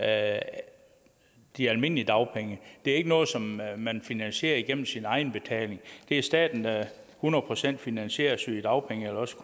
af de almindelige dagpenge det er ikke noget som man man finansierer igennem sin egenbetaling det er staten der hundrede procent finansierer sygedagpengene eller også